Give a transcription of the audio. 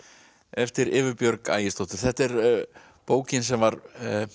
eftir Evu Björg þetta er bókin sem var